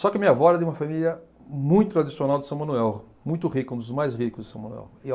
Só que a minha avó era de uma família muito tradicional de São Manuel, muito rica, um dos mais ricos de São Manuel.